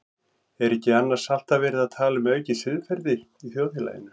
Er ekki annars alltaf verið að tala um aukið siðferði í þjóðfélaginu?